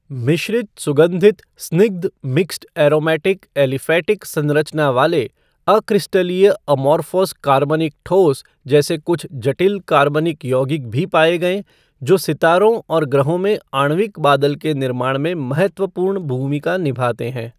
मिश्रित सुगंधित स्निग्ध मिक्स्ड एरोमैटिक ऐलीफ़ैटिक संरचना वाले अक्रिस्टलीय अमोर्फ़ॉस कार्बनिक ठोस जैसे कुछ जटिल कार्बनिक यौगिक भी पाए गए जो सितारों और ग्रहों में आणविक बादल के निर्माण में महत्वपूर्ण भूमिका निभाते हैं।